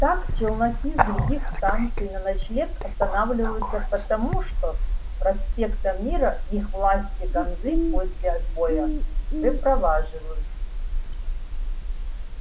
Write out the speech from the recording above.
так челноки с других станций на ночлег останавливаются потому что с проспекта мира их власти ганзы после отбоя выпроваживают